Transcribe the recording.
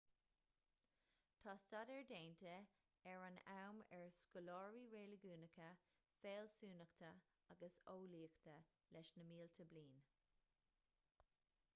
tá staidéar déanta ar an am ar scoláirí reiligiúnacha fealsúnachta agus eolaíochta leis na mílte bliain